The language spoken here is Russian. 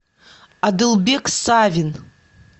адылбек савин